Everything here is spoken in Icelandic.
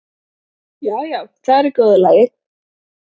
Já, já, þetta er í góðu lagi.